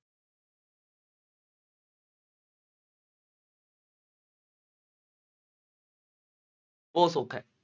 ਉਹ ਸੌਖਾ ਹੈ।